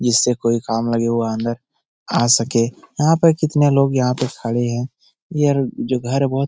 जिससे कोई काम नहीं हुआ अंदर आ सके यहाँ पे कितने लोग यहाँ पे खड़े हैं यह जो घर बहोत --